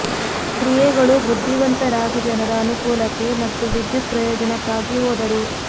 ಕ್ರಿಯೆಗಳು ಬುದ್ಧಿವಂತ ರಾಜ ಜನರ ಅನುಕೂಲಕ್ಕೆ ಮತ್ತು ವಿದ್ಯುತ್ ಪ್ರಯೋಜನಕ್ಕಾಗಿ ಹೋದರು